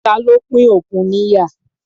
Ta ló pín òkun níyà?